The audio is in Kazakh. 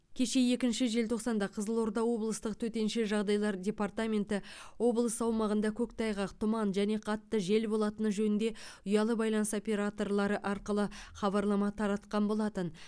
кеше екінші желтоқсанда қызылорда облыстық төтенше жағдайлар департаменті облыс аумағында көктайғақ тұман және қатты жел болатыны жөнінде ұялы байланыс операторлары арқылы хабарлама таратқан болатын